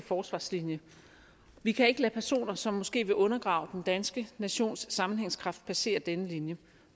forsvarslinje vi kan ikke lade personer som måske vil undergrave den danske nations sammenhængskraft passere denne linje